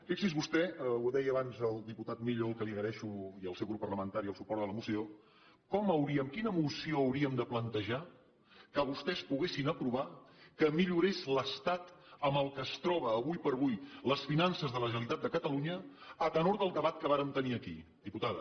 fixi’s vostè ho deia abans el diputat millo al qual agraeixo i al seu grup parlamentari el suport a la moció quina moció hauríem de plantejar que vostès poguessin aprovar que millorés l’estat en què es troben ara com ara les finances de la generalitat de catalunya a tenor del debat que vàrem tenir aquí diputada